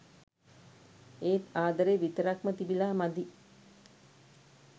ඒත් ආදරේ විතරක්ම තිබිලා මදි.